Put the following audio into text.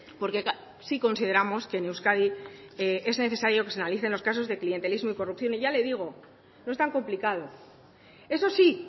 porque sí consideramos que en euskadi es necesario que se analicen los casos de clientelismo y corrupción y ya le digo no es tan complicado eso sí